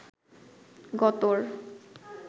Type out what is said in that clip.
গতর